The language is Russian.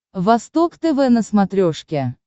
восток тв на смотрешке